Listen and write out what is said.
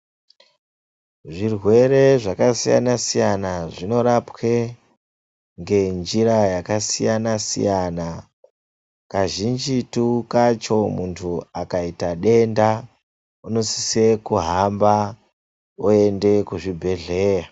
Zvirwere zvakasiyana siyana zvinorapwa ngenjira yakasiyana siyana .Kazhinjitu kacho muntu akaita denda unosisa kuhamba oenda kuzvibhehlera.